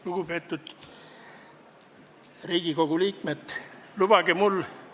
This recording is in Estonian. Lugupeetud Riigikogu liikmed!